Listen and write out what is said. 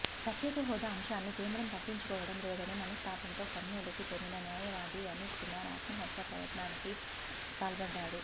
ప్రత్యేక హోదా అంశాన్ని కేంద్రం పట్టించుకోవడం లేదనే మనస్తాపంతో కర్నూలుకు చెందిన న్యాయవాది అనిల్ కుమార్ ఆత్మహత్యా యత్నానికి పాల్పడ్డారు